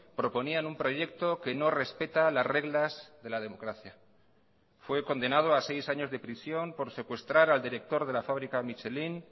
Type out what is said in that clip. proponían un proyecto que no respeta las reglas de la democracia fue condenado a seis años de prisión por secuestrar al director de la fábrica michelin